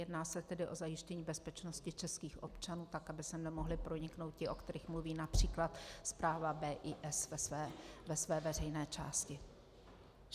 Jedná se tedy o zajištění bezpečnosti českých občanů tak, aby sem nemohli proniknout ti, o kterých mluví například zpráva BIS ve své veřejné části.